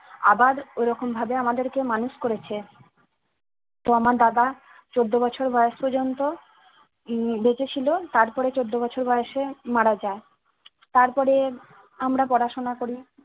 আবার ঐরকম ভাবে আমাদের কে মানুষ করেছে, তো আমার দাদা চোদ্দ বছর বয়স পর্যন্ত উম বেঁচে ছিল তারপরে চোদ্দ বছর বয়সে মারা যায় তারপরে আমরা পড়াশোনা করি